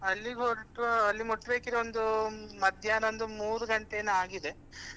ಅಲ್ಲಿಗೆ ಹೊರಟು ಅಲ್ಲಿ ಮುಟ್ಬೇಕಿದ್ರೆ ಒಂದು ಮಧ್ಯಾಹ್ನ ಒಂದು ಮೂರು ಗಂಟೆ ಏನೋ ಆಗಿದೆ.